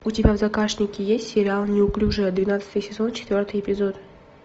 у тебя в загашнике есть сериал неуклюжая двенадцатый сезон четвертый эпизод